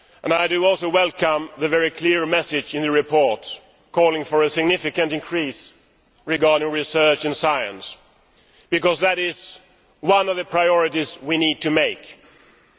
I also welcome the very clear message in the report calling for a significant increase in research and science because that is one of the priorities we need to have.